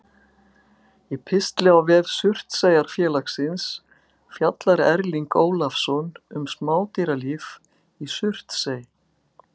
Í pistli á vef Surtseyjarfélagsins fjallar Erling Ólafsson um smádýralíf í Surtsey.